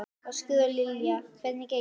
Ásgeir: Og Lilja, hvernig gengur?